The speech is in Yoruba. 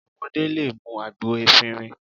Ọmọdé lè mú àgbo efinrin